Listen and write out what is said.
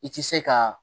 I ti se ka